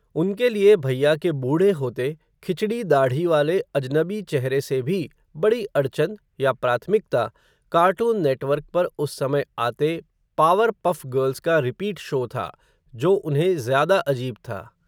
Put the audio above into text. उनके लिए भैया के बूढ़े होते, खिचड़ी दाढ़ी वाले अजनबी चेहरे से भी, बड़ी अड़चन, या प्राथमिकता, कार्टून नेटवर्क पर उस समय आते, पावर पफ़ गर्ल्स का, रिपीट शो था, जो उन्हें ज़्यादा अजीब था